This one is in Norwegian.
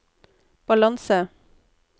balanse